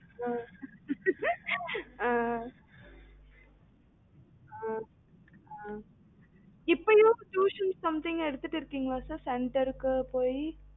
ஆஹ் ஆஹ் ஆஹ் இப்பயும் tuition something எடுத்துட்டு இருக்கீங்களா sir center க்கு போயி